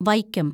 Vaikom